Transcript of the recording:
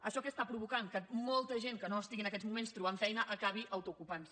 això què està provocant que molta gent que no estigui en aquests moments trobant feina acabi autoocupant se